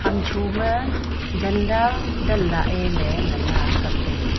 hamchoma jhanda danlahye ley ngan a kaptaiga.